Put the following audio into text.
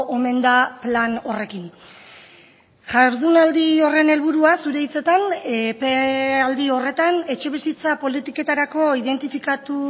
omen da plan horrekin jardunaldi horren helburua zure hitzetan epealdi horretan etxebizitza politiketarako identifikatu